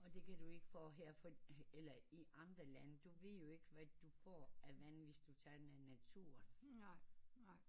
Og det kan du ikke få her for eller i andre lande du ved jo ikke hvad du får af vande hvis du tager i naturen